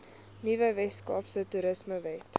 nuwe weskaapse toerismewet